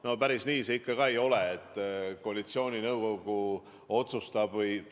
No päris nii see ikka ka ei ole, et koalitsiooninõukogu otsustab või ...